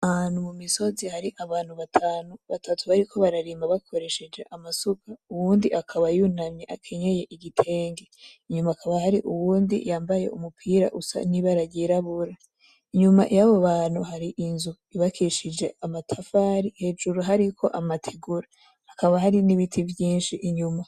Ahantu mu misozi hari abantu batanu , batatu bariko bararima bakoresheje amasuka , uwundi akaba yunamye akenye igitenge hakaba hari uyundi yambaye umupira usa n’ibara ryirabura. Inyuma yabo bantu gati inzu yubakishijwe amatafari hejuru hariko amategura hakaba hari n’ibiti vyinshi inyuma.